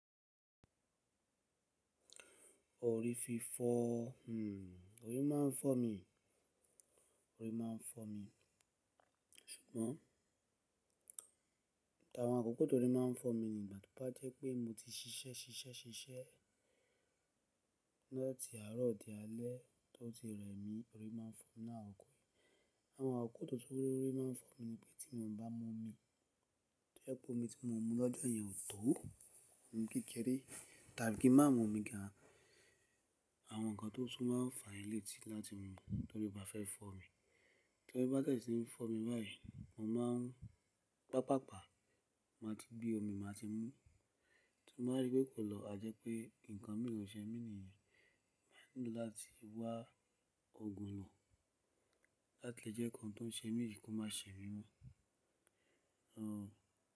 Orí fi fọ́, hmm, orí máa ń fọ́ mi, orí máa ń fọ́ mi. Ṣùgbọ́n, t'awọn àkoko tó rí máa ń fọ́ mi ni ìgbà to bá jẹ́ pé mo ti ṣiṣẹ́ ṣiṣẹ́ ṣiṣẹ́ la ti àárọ̀ di alẹ́, tó ti rẹ mí, orí máa ń fọ́ mi náà ò kó. Àwọn àkókò tó tún orí máa ń fọ́ mi ni pé tí mo ò bá mọ omi, jẹ́ pé omi tí mo mu lọ́jọ́ yẹn ò tó, omi kéré tàbí kí má mọ omi gan, àwọn nǹkan tó tún máa fàà i létí láti mọ torí bá fẹ́ fọ́ mi. Torí bá tẹ̀ síi fọ́ mi báyìí, mo máa ń pàpàpá máa ti gbe omi, màá ti mú. Tí mo bá rí pé kò lọ̀, à jẹ́ pé nǹkan mìíràn ṣẹ mí nìyẹn. Mo nílò láti wá òògùn lo láti jẹ́ nkán tó ń ṣe mí yìí kó má ṣe mí mọ́. N o.